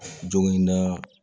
Jogo in na